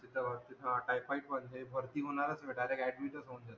जिथे पाहावं तिथे हा टायफाईड पण हे भरती होणारच डायरेक्ट ऍडमिट होऊन जाते